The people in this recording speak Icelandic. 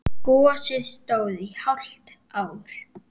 Gosið stóð í hálft ár.